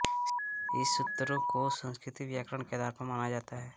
शिवसूत्रों को संस्कृत व्याकरण का आधार माना जाता है